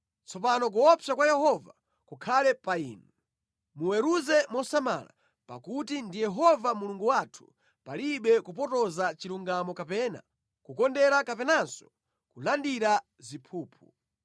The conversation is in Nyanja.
Tsopano kuopsa kwa Yehova kukhale pa inu. Muweruze mosamala, pakuti ndi Yehova Mulungu wathu palibe kupotoza chilungamo kapena kukondera kapenanso kulandira ziphuphu.”